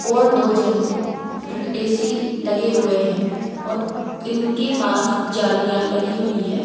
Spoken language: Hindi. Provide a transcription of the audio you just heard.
और दो जन ए_सी लगे हुए हैं और इनके पास जालियां लगी हुई है।